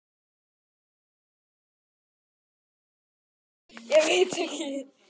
Ekki vín?